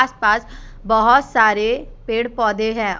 पास बहुत सारे पेड़ पौधे हैं।